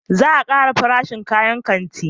Za a kara farashin kayan kanti